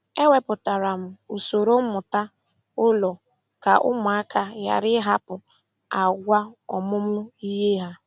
E wepụtara m usoro mmụta ụlọ ka ụmụaka ghara ịhapụ àgwà ọmụmụ ihe ha.